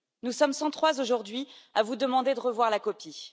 Nous sommes 103 aujourd'hui à vous demander de revoir la copie.